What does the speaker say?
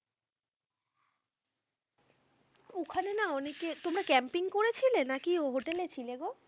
না না অনেকে, তোমরা camping করেছিলে? নাকি hotel এ ছিলে গো?